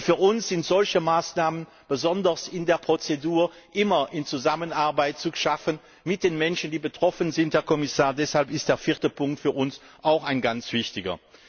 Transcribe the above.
Und für uns sind solche Maßnahmen besonders in der Prozedur immer in Zusammenarbeit zu schaffen mit den Menschen, die betroffen sind, Herr Kommissar. Deshalb ist der vierte Punkt für uns auch ein ganz wichtiger.